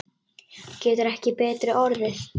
Getur ekki betri orðið.